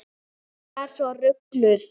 Ég er svo rugluð.